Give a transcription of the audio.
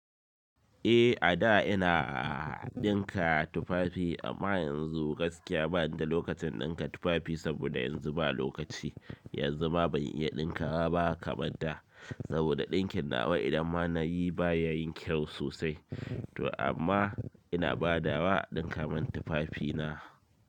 Eh a da ina a ɗinka tufafi, amma yanzu gaskiya ba ni da lokacin ɗinka tufafi saboda yanzu ba lokaci. Yanzu ma ban iya ɗinkawa ba kamad da saboda ɗinkin nawa idan ma na yi ba ya yin kyau sosai. To amma ina badawa a dinka min tufafina.